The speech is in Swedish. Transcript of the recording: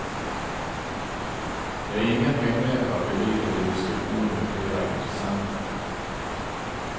Det är ingen hemlighet att vi ligger i diskussioner med flera intressenter.